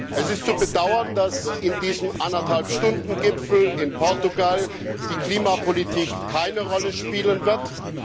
Es ist zu bedauern, dass bei diesem Eineinhalb Stunden Gipfel in Portugal die Klimapolitik keine Rolle spielen wird.